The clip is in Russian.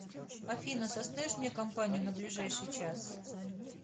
афина составишь мне компанию на ближайший час